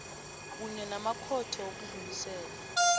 kunye namakhotho wokudlulisela